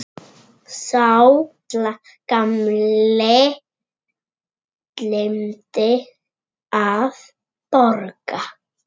Sá gamli gleymdi að borga.